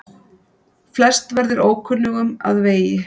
Flest verður ókunnugum að vegi.